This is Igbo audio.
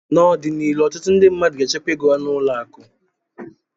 N'ọdịnihu ọtụtụ ndị mmadụ ga-echekwa ego ha n'ụlọ akụ